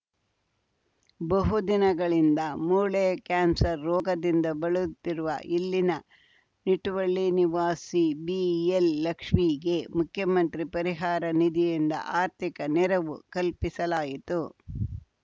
ಬಹು ದಿನಗಳಿಂದ ಮೂಳೆ ಕ್ಯಾನ್ಸರ್‌ ರೋಗದಿಂದ ಬಳಲುತ್ತಿರುವ ಇಲ್ಲಿನ ನಿಟ್ಟುವಳ್ಳಿ ನಿವಾಸಿ ಬಿಎಲ್‌ಲಕ್ಷ್ಮೀಗೆ ಮುಖ್ಯಮಂತ್ರಿ ಪರಿಹಾರ ನಿಧಿಯಿಂದ ಆರ್ಥಿಕ ನೆರವು ಕಲ್ಪಿಸಲಾಯಿತು